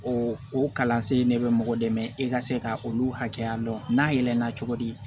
O o kalansen ne bɛ mɔgɔ dɛmɛ e ka se ka olu hakɛya dɔn n'a yɛlɛnna cogodi